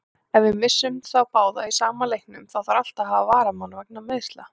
Ef við missum þá báða í sama leiknum, þá þarf alltaf varamann vegna meiðsla.